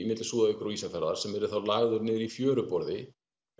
milli Súðavíkur og Ísafjarðar sem yrði þá lagður í fjöruborði